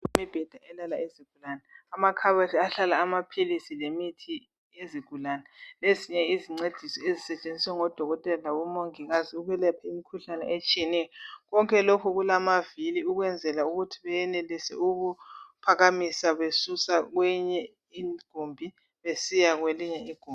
Imbheda elala izigulane , amakhabothi ahlala amaphilisi lemithi yezigulane , ezinye izincedisi ezisetshenziswa ngodokotela labomongikazi ukulapha imkhuhlane etshiyeneyo , konke lokhu kulamavili ukwenzela ukuthi benelise ukuphakamisa besusa kwenye igumbi besiya kwelinye igumbi